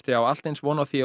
á allt eins von á því að